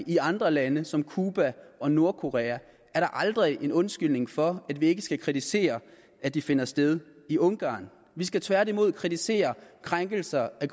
i andre lande som cuba og nordkorea er da aldrig en undskyldning for at vi ikke skal kritisere at de finder sted i ungarn vi skal tværtimod kritisere krænkelser af